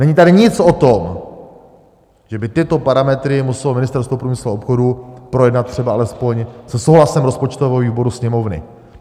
Není tady nic o tom, že by tyto parametry muselo Ministerstvo průmyslu a obchodu projednat třeba alespoň se souhlasem rozpočtového výboru Sněmovny.